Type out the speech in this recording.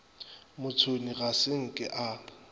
motšhoni ga se nke a